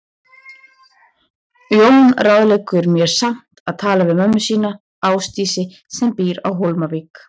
Jón ráðleggur mér samt að tala við mömmu sína, Ásdísi, sem býr á Hólmavík.